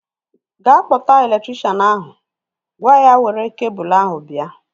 Ga kpọta elektrikshan ahu! Gwa ya were kebul ahu bịa